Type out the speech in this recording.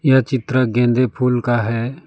यह चित्र गेंदे फूल का है।